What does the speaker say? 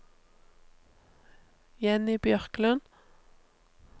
Jenny Bjørklund